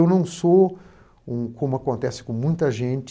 Eu não sou um, como acontece com muita gente,